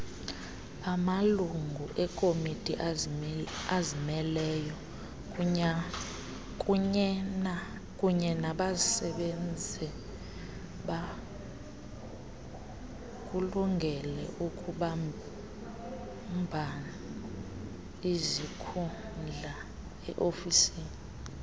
amalunguekomitiazimeleyo kunyenabasebenzibakulungeleukubambaizikhundlae ofisini